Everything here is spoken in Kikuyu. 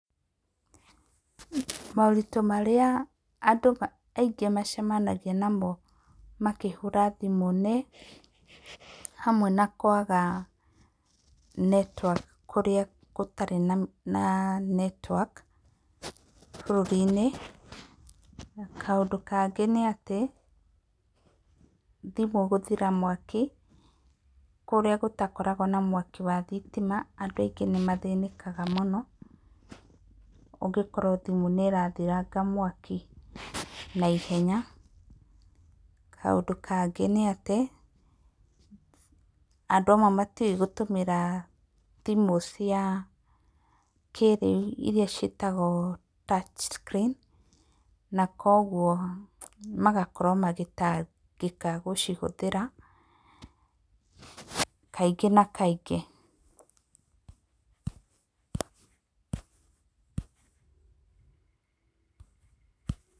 Moritũ marĩa andũ aingĩ macemanagia namo makĩhũra thimũ nĩ hamwe na kwaga netiwaki kũrĩa gũtarĩ na netiwaki bũrũrĩ-inĩ. Kaũndũ kangĩ nĩatĩ, thimũ gũthira mwaki, kũrĩa gũtakoragwo na mwaki wa thitima, andũ aingĩ nĩ mathĩnĩkaga mũno, ũngĩkorwo thimũ nĩ ĩrathiranga mwaki naihenya. Kaũndũ kangĩ nĩatĩ, andũ amwe matiũĩ gũtũmĩra thimũ cia kĩrĩu, iria ciĩtagwo touch screen. Na koguo magakorwo magĩtangĩka gũcihũthĩra, kaingĩ na kaingĩ.